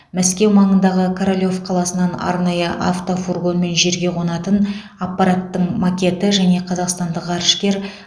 мәскеу маңындағы королев қаласынан арнайы автофургонмен жерге қонатын аппараттың макеті және қазақстандық ғарышкер